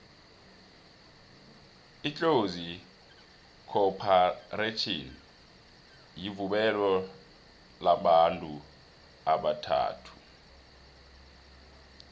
itlozi khopharetjhini yirhvuebo lamabantu abathathu